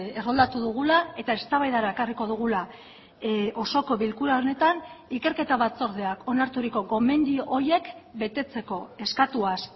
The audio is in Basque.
erroldatu dugula eta eztabaidara ekarriko dugula osoko bilkura honetan ikerketa batzordeak onarturiko gomendio horiek betetzeko eskatuaz